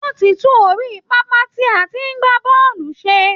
Wọ́n ti tún orí pápá tí a ti ń gbá bọ́ọ̀lù ṣe